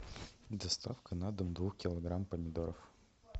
доставка на дом двух килограмм помидоров